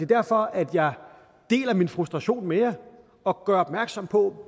derfor jeg deler min frustration med jer og gør opmærksom på